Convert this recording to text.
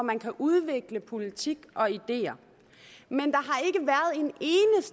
man kan udvikle politik og ideer men